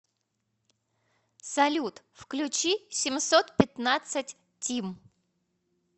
салют включи семьсот пятнадцать тим